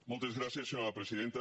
moltes gràcies senyora presidenta